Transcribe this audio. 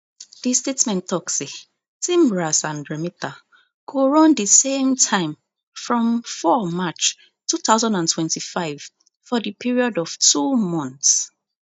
di statement tok say tmras and remita go run di same time from four march two thousand and twenty-five for di period of two months